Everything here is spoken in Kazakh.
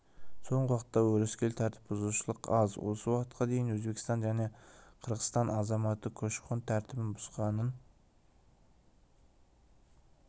соңғы уақытта өрескел тәртіп бұзушылық аз осы уақытқа дейін өзбекстан және қырғызстан азаматы көші-қон тәртібін бұзғанын